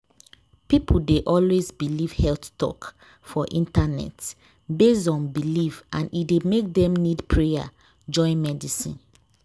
people dey always believe health talk for internet based on belief and e dey make dem need prayer join medicine.